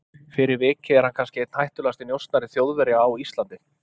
Fyrir vikið er hann kannski einn hættulegasti njósnari Þjóðverja á Íslandi.